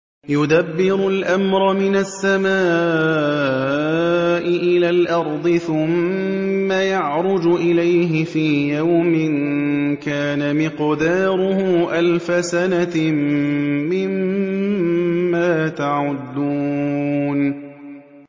يُدَبِّرُ الْأَمْرَ مِنَ السَّمَاءِ إِلَى الْأَرْضِ ثُمَّ يَعْرُجُ إِلَيْهِ فِي يَوْمٍ كَانَ مِقْدَارُهُ أَلْفَ سَنَةٍ مِّمَّا تَعُدُّونَ